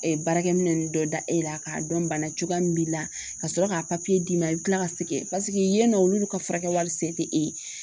baarakɛminɛn ninnu dɔ da e la k'a dɔn bana cogoya min b'i la ka sɔrɔ k'a papiye d'i ma i bɛ tila ka sɛgɛn yen nɔ olu ka furakɛli sen tɛ e ye